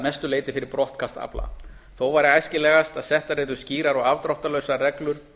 mestu leyti fyrir brottkast afla þó væri æskilegast að settar yrðu skýrar og afdráttarlausar reglur